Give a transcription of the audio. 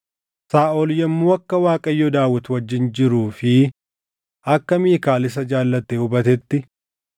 Saaʼol yommuu akka Waaqayyo Daawit wajjin jiruu fi akka Miikaal isa jaallate hubatetti,